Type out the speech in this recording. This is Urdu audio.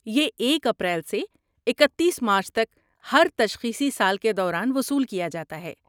یہ ایک اپریل سے اکتیس مارچ تک ہر تشخیصی سال کے دوران وصول کیا جاتا ہے